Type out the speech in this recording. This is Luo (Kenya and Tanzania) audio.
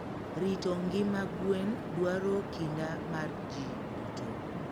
Rito ngima gwen dwaro kinda mar ji duto.